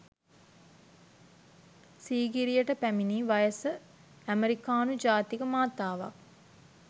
සීගිරියට පැමිණි වයස ඇමෙරිකානු ජාතික මාතාවක්